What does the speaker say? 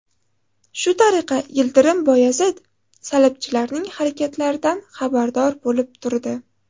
Shu tariqa Yildirim Boyazid salibchilarning harakatlaridan xabardor bo‘lib turdi.